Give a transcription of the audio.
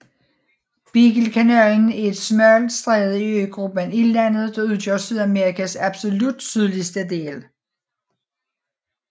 Beaglekanalen er et smalt stræde i øgruppen Ildlandet der udgør Sydamerikas absolut sydligste del